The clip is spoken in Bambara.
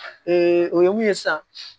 o ye mun ye sa